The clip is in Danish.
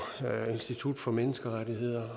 institut for menneskerettigheder